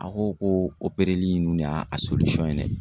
A ko ko opereli ninnu de y'a a ye dɛ